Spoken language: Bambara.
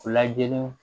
Lajɛliw